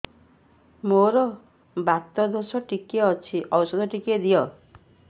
ମୋର୍ ବାତ ଦୋଷ ଟିକେ ଅଛି ଔଷଧ ଟିକେ ଦିଅ